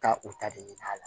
Ka u ta de ɲini a la